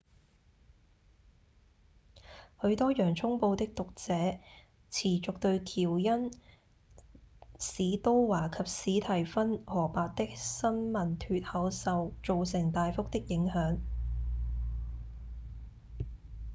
許多《洋蔥報》的作者持續對喬恩・史都華及史蒂芬・荷伯的新聞脫口秀造成大幅的影響